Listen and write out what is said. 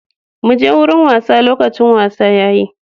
Muje wurin wasa, lokacin wasa yayi.